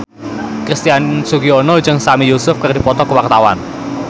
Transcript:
Christian Sugiono jeung Sami Yusuf keur dipoto ku wartawan